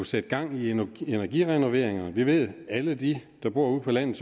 sætte gang i nogle energirenoveringer vi ved at alle de der bor ude på landet